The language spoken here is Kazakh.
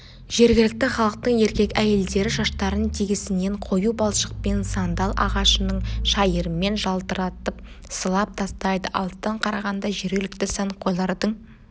жергілікті халықтың еркек-әйелдері шаштарын тегісінен қою балшықпен сандал ағашының шайырымен жалтыратып сылап тастайды алыстан қарағанда жергілікті сәнқойлардың